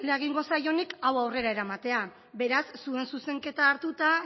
egingo zaionik hau aurrera eramatea beraz zuen zuzenketa hartuta